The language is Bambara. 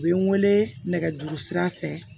U bɛ n wele nɛgɛjuru sira fɛ